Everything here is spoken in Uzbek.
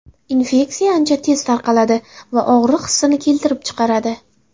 Infeksiya ancha tez tarqaladi va og‘riq hissini keltirib chiqaradi.